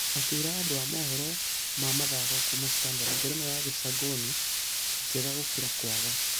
Akĩra andũ a mohoro ma mĩthako kuuma standard ngerenwa ya gĩcangonĩ njega gũkĩra kwaga.